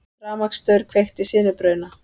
Rafmagnsstaur kveikti sinubruna